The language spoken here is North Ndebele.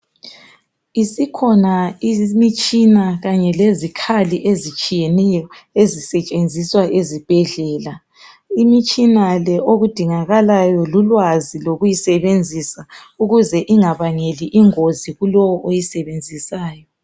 Isikhona imitshina kanye lezikhali ezitshiyeneyo ezisetshenziswa ezibhedlela. Imitshina le okudingakalayo lulwazi lokuyisebenzisa ukuze ingabangeli ingozi kulowo oyisebenzisayo.